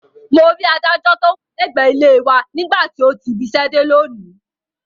Mo rí adájọ́ tó wà lẹ́gbẹ̀ẹ́ ilé e wa nígbà tó ti ibiṣẹ́ dé lónìí